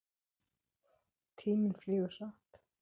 Tíminn flýgur hratt.